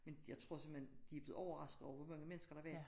Men jeg tror simpelthen de er blevet overraskede over hvor mange mennesker der var